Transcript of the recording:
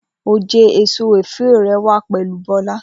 Oje eso ofio rẹ wa pẹlu Bola.